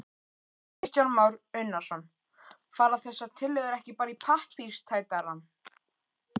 Kristján Már Unnarsson: Fara þessar tillögur ekki bara í pappírstætarann?